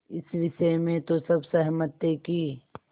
इस विषय में तो सब सहमत थे कि